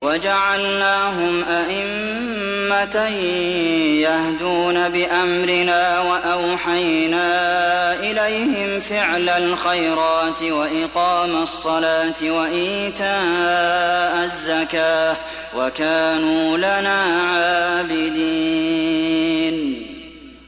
وَجَعَلْنَاهُمْ أَئِمَّةً يَهْدُونَ بِأَمْرِنَا وَأَوْحَيْنَا إِلَيْهِمْ فِعْلَ الْخَيْرَاتِ وَإِقَامَ الصَّلَاةِ وَإِيتَاءَ الزَّكَاةِ ۖ وَكَانُوا لَنَا عَابِدِينَ